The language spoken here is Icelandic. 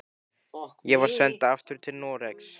Ég var send aftur til Noregs.